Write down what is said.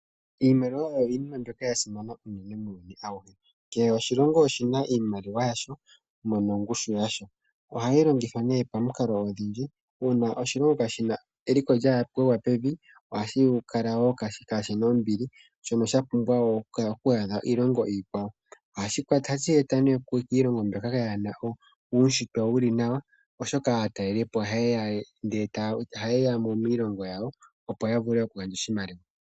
Iimaliwa oyo iinima mbyono ya simana unene muuyuni auhe. Kehe oshilongo oshi na iimaliwa ya sho nongushu yasho. Ohayi longithwa pamikalo odhindji. Uuna oshilongo shi na eliko lya gwa pevi ohashi kala wo kaa shi na ombli, mpono sha pumbwa wo oku adha iilongo iikwawo . Ohashi e twa kiilongo mbyoka yaa na uunshitwe wu li nawa, oshoka aatalelipo ohaye ya mo miilongo yawo, opo ya vule okugandja oshimaliwa.